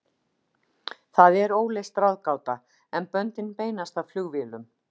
Það er óleyst ráðgáta, en böndin beinast að flugvélum.